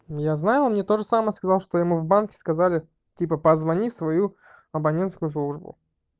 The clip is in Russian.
я знаю он мне тоже самое сказал что ему в банке сказали типа позвони в свою абонентскую службу